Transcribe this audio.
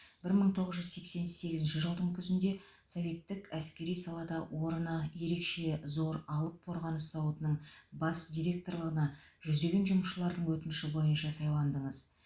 бір мың тоғыз жүз сексен сегізінші жылдың күзінде советтік әскери салада орны ерекше зор алып қорғаныс зауытының бас директорлығына жүздеген жұмысшылардың өтініші бойынша сайландыңыз